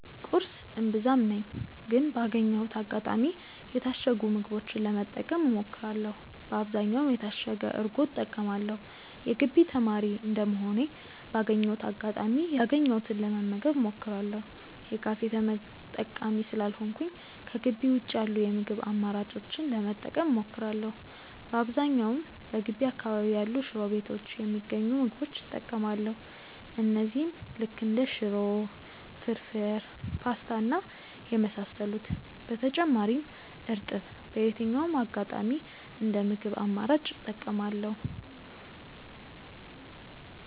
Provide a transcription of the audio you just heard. ቁርስ እምብዛም ነኝ ግን ባገኘሁት አጋጣሚ የታሸጉ ምግቦችን ለመጠቀም እሞክራለው በአብዛኛውም የታሸገ እርጎ እጠቀማለው። የግቢ ተማሪ እንደመሆኔ ባገኘሁት አጋጣሚ ያገኘሁትን ለመመገብ እሞክራለው። የካፌ ተጠቃሚ ስላልሆንኩኝ ከጊቢ ውጪ ያሉ የምግብ አማራጮችን ለመጠቀም እሞክራለው። በአብዛኛውም በገቢ አካባቢ ያሉ ሽሮ ቤቶች የሚገኙ ምግቦች እጠቀማለው እነዚህም ልክ እንደ ሽሮ፣ ፍርፉር፣ ፖስታ እና የመሳሰሉት። በተጨማሪም እርጥብ በየትኛውም አጋጣሚ እንደ ምግብ አማራጭ እጠቀማለው።